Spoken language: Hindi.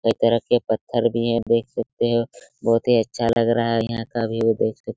कई तरह के पत्थर भी है देख सकते है बहुत ही अच्छा लग रहा है यहां का व्यू देख सक --